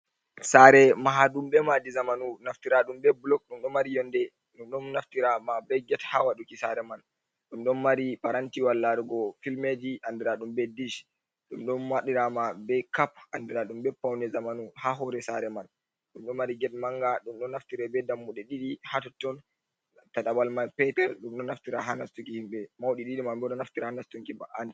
Sare maha ɗum be madi zamanu, naftira ɗum be blok, ɗum ɗon mari yonde, ɗum ɗon naftira ma be get, ha ɗiki sare man, ɗum ɗon mari parang tiwal larugo filme ji andira ɗum be dish, ɗum ɗon waɗira ma be cap andira ɗum be pawne zamanu ha hore sare man, ɗum ɗo mari get manga, ɗum ɗon naftire be dammuɗe ɗidi hatotton. ta tabal mai Patel, ɗum ɗo naftira ha nastuki himɓe maudi didi ma bo ɗo naftira ha nastunki ba'an tedi.